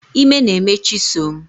Ime na-eme chisom